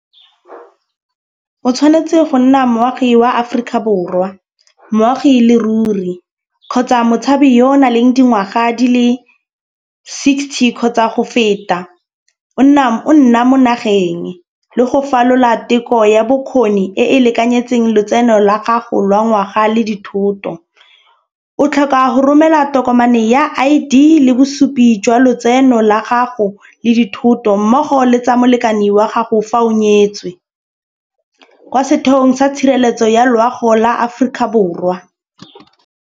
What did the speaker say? O tshwanetse go nna moagi wa Aforika Borwa moagi e le ruri kgotsa motshabi yo o na le dingwaga di le sixty kgotsa go feta, o nna mo nageng le go falola teko ya bokgoni e e lekanyeditseng lotseno la gago lwa ngwaga le dithoto. O tlhoka go romela tokomane ya I_D le bosupi jwa lotseno la gago le dithoto mmogo le tsa molekane wa gago fa o nyetswe. Kwa setheong sa tshireletso ya loago la Aforika Borwa.